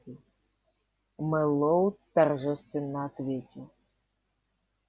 мэллоу торжественно ответил